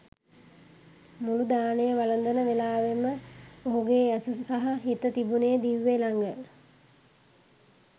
මුළු දානය වළඳන වෙලාවේම ඔහුගේ ඇස සහ හිත තිබුනේ දිව්‍යා ළඟ.